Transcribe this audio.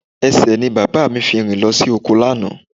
Ẹsẹ̀ ni bàbá mi fi rìn lọ sí oko lánàá